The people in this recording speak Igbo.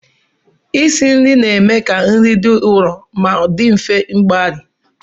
Isi nri na-eme ka nri dị nro ma dị mfe mgbari